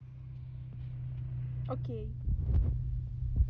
окей